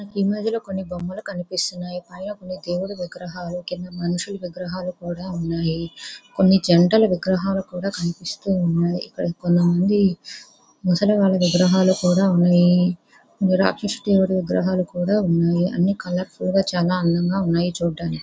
ఈ ఇమేజ్ లో పైన కొన్ని బొమ్మలు కనిపిస్తున్నాయి అలాగే దేవుడి విగ్రహాలు కింద మనుషులు విగ్రహాలు కూడా వున్నాయి కొన్ని జంటలు విగ్రహాలు కూడా కనిపిస్తున్నాయి ఇక్కడ కొంతమంది ముసలి వాళ్ళ విగ్రహాలు కూడా ఉన్నాయి నిరాక్షస దేవుడి విగ్రహాలు కూడా ఉన్నాయి అన్ని కలర్ ఫుల్ గా చాలా అందంగా ఉన్నాయి చూడ్డానికి --